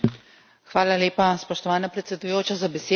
Hvala lepa, spoštovana predsedujoča, za besedo.